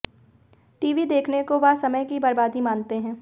TV देखने को वह समय की बर्बादी मानते हैं